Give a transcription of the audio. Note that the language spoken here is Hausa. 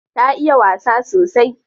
Ta iya wasa sosai.